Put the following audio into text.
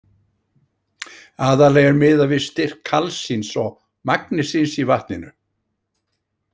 Aðallega er miðað við styrk kalsíns og magnesíns í vatninu.